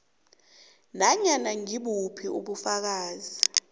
nanyana ngibuphi ubufakazi